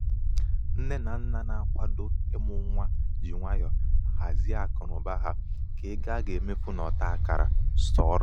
nné um na um nna na- akwado ịmụ nwa ji nwayọ hazie akụnaụba ha ka ego a ga-emefu n'ọta akara sọrọ.